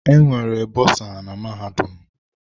Enwere bosa na mahadum.